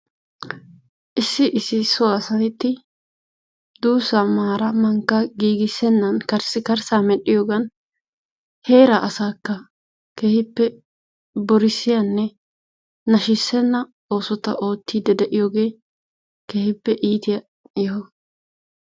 Issi issi so asati duussaa maaraa mankkaa giggissennan karssi karssaa medhiyoogan heeraa asaakka keehippe borissiyaanne naashisenna oosota oottidi de'iyoogee keehippe iitiyaa yoho.